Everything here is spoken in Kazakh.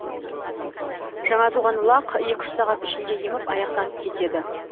жаңа туған лақ екі үш сағат ішінде еміп аяқтанып кетеді